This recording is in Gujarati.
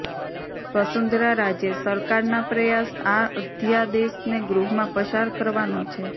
વસુંધરા રાજે સરકારના પ્રયાસ આ અધ્યાદેશને ગૃહમાં પસાર કરવાનો છે